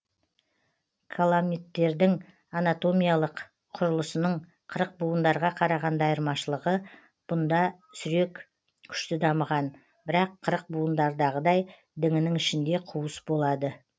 каламиттердің анатомиялық құрылысының қырықбуындарға қарағанда айырмашылығы бұнда сүрек күшті дамыған бірақ қырықбуындардағыдай діңінің ішінде қуыс болады